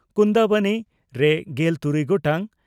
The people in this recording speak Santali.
ᱠᱩᱱᱫᱟᱵᱚᱱᱤ) ᱨᱮ ᱜᱮᱞ ᱛᱩᱨᱩᱭ ᱜᱚᱴᱟᱝ